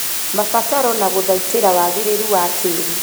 Mabataro na gũthaitĩra wagĩrĩru wa tĩĩri